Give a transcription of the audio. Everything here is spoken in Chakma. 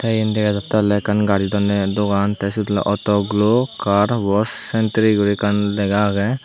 iyen dega jattey oley ekkan gari donney dogan tey siyot oley auto glo car wosh centri guri ekkan lega agey.